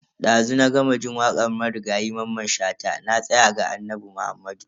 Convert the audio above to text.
Dazu na gama jin wakar marigayi Mamman Shata "Na tsaya ga Annabi Muhammadu".